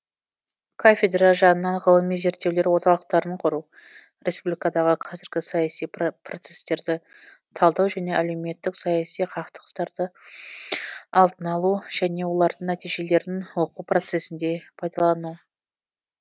кафедра жанынан ғылыми зерттеулер орталықтарын құру республикадағы қазіргі саяси процестерді талдау және әлеуметтік саяси қақтығыстарды алдын алу және олардың нәтижелерін оқу процесінде пайдалану